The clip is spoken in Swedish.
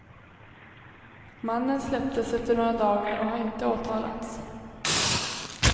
Mannen släpptes efter några dagar och har inte åtalats.